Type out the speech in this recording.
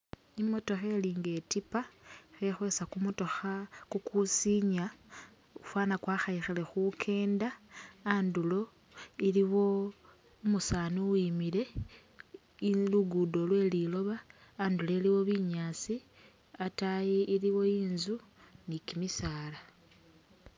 Imotokha ilinga itipa khekhwesa kumotokha kukusinya fana kwakhayikhane khukenda, andulo iliwo umusani uwimile , i'luguddo lweliloba, andulo iliwo binyaasi, ataayi iliwo inzu ni kimisaala